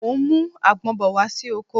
Mo ń mú àgbon bọ̀ wá sí oko